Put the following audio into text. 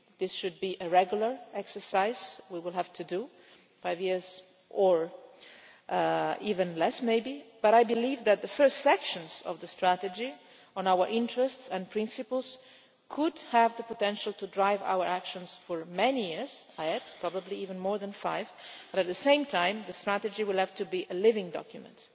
This should be a regular exercise we will have to do five years, or even less maybe. But I believe that the first sections of the strategy on our interests and principles could have the potential to drive our actions for many years probably even more than five but at the same time, the strategy will have to be a living document.